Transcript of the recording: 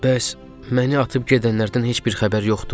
Bəs məni atıb gedənlərdən heç bir xəbər yoxdur?